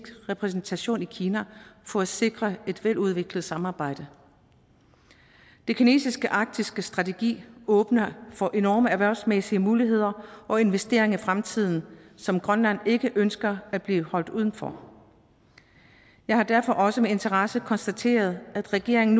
repræsentation i kina for at sikre et veludviklet samarbejde den kinesiske arktiske strategi åbner for enorme erhvervsmæssige muligheder og investeringer i fremtiden som grønland ikke ønsker at blive holdt uden for jeg har derfor også med interesse konstateret at regeringen